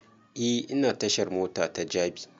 E ina tashar mota ta jabi